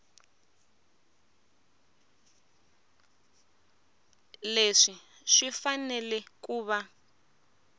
leswi swi fanele ku va